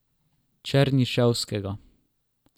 Černiševskega.